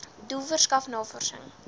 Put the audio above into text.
doel verskaf navorsing